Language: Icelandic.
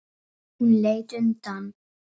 Hún leit undan.